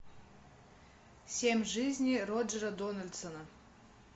семь жизней роджера дональдсона